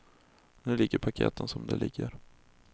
Nu ligger paketet som det ligger.